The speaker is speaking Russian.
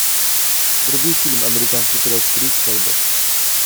вруби фильм американский пирог три свадьба